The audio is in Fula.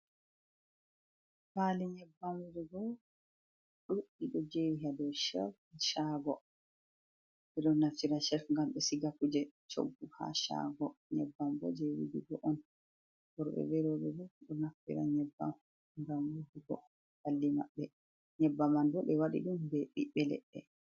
Faali nyebbam wujugo ɗuɗɗi, ɗo jeri haa dou shelf shaago. Ɓe ɗo naftira shelf ngam be siga kuje coggu haa shaago. Nyebbam bo je wujugo on. Worɓe be rowɓe bo ɗo naftira nyebbam ngam wujugo ɓalli maɓɓe. Nyebbama ɗo ɓe waɗi ɗum be ɓiɓɓe leɗɗe.